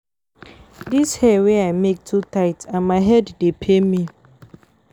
Dis hair wey I make too tight and my head dey pain me